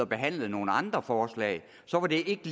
behandlet nogle andre forslag som ikke